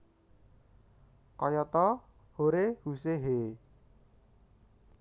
Kayata hore huse heee